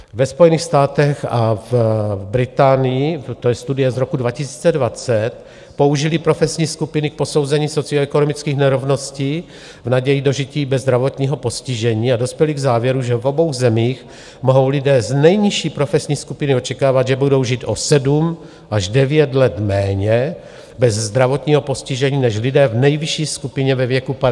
Ve Spojených státech a v Británii, to je studie z roku 2020, použili profesní skupiny k posouzení socioekonomických nerovností v naději dožití bez zdravotního postižení a dospěli k závěru, že v obou zemích mohou lidé z nejnižší profesní skupiny očekávat, že budou žít o 7 až 9 let méně bez zdravotního postižení než lidé v nejvyšší skupině ve věku 50 let.